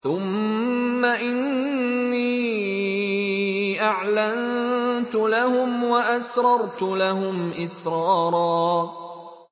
ثُمَّ إِنِّي أَعْلَنتُ لَهُمْ وَأَسْرَرْتُ لَهُمْ إِسْرَارًا